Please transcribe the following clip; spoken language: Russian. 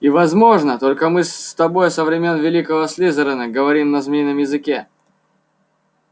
и возможно только мы с тобой со времён великого слизерина говорим на змеином языке